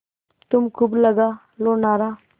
तुम खूब लगा लो नारा